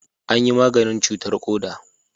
An yi maganin cutarr koda